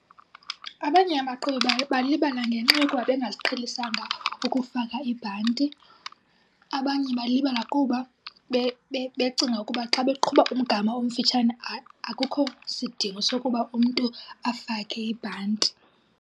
Abanye abaqhubi balibala ngenxa yoba bengaziqhelisanga ukufaka ibhanti abanye balibala kuba becinga ukuba xa beqhuba umgama omfitshane akukho sidingo sokuba umntu afake ibhanti.